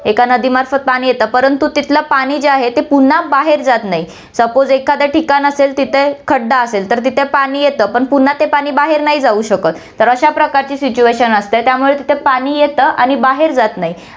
एक नदीमार्फत पाणी येतं, परंतु तिथलं पाणी जे आहे, ते पुन्हा बाहेर जात नाही, suppose एखादं ठिकाण असेल तिथे खड्डा असेल, तर तिथे पाणी येतं, पण पुन्हा ते पाणी बाहेर नाही जाऊ शकतं, तर अश्या प्रकारची situation असते, त्यामुळे तिथे पाणी येतं आणि बाहेर जात नाही.